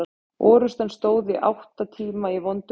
Orrustan stóð í átta tíma í vondu veðri.